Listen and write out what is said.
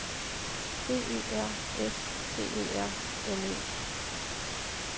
B Ø R S T E R N E